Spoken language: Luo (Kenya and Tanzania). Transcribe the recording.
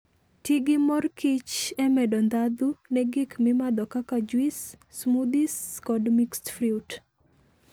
Ti gi mor kich e medo ndhadhu ne gik mimadho kaka juice, smoothies, kod mixed fruit.